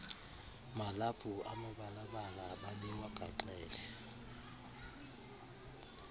malaphu amibalabala babewagaxele